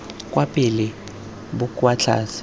kwa pele bo kwa tlase